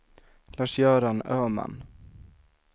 Lars-Göran Öhman